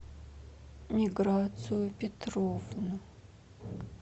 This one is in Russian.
миграцию петровну